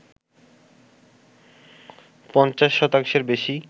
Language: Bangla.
পঞ্চাশ শতাংশের বেশি